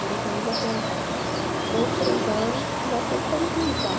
Morou comigo até os dois, três anos, mas sempre foi me visitar.